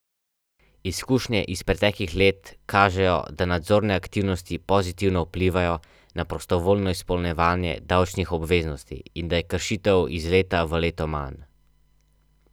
Ljudje se odločijo za osebno mešanico kapljic, ki jih podpre tam, kjer to najbolj potrebujejo.